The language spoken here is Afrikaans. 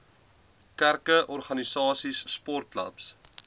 kerke organisasies sportklubs